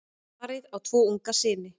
Parið á tvo unga syni.